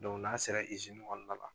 n'a sera kɔnɔna la